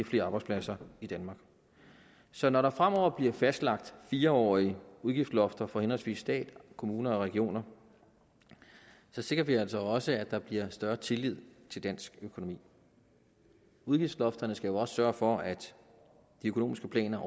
flere arbejdspladser i danmark så når der fremover bliver fastlagt fire årige udgiftslofter for henholdsvis staten kommunerne og regionerne sikrer vi altså også at der bliver større tillid til dansk økonomi udgiftslofterne skal jo også sørge for at de økonomiske planer